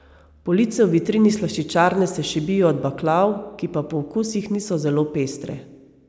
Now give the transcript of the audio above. Police v vitrini slaščičarne se šibijo od baklav, ki pa po okusih niso zelo pestre.